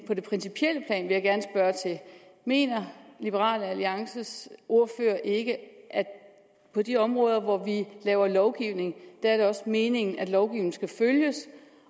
på det principielle plan mener liberal alliances ordfører ikke at på de områder hvor vi laver lovgivning er det også meningen at lovgivningen skal følges